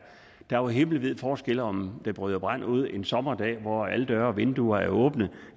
jo himmelvid forskel på om der bryder brand ud en sommerdag hvor alle døre og vinduer er åbne